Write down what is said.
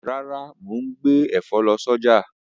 Rara, mo n gbe awọn ẹfọ lọ si ọja.